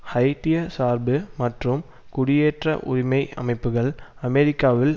ஹைய்ட்டிய சார்பு மற்றும் குடியேற்ற உரிமை அமைப்புக்கள் அமெரிக்காவில்